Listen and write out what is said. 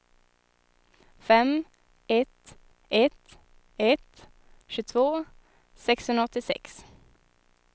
fem ett ett ett tjugotvå sexhundraåttiosex